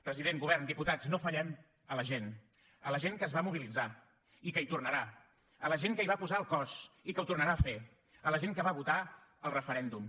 president govern diputats no fallem a la gent a la gent que es va mobilitzar i que hi tornarà a la gent que hi va posar el cos i que ho tornarà a fer a la gent que va votar el referèndum